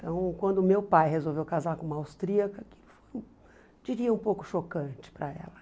Então, quando meu pai resolveu casar com uma austríaca, diria um pouco chocante para ela.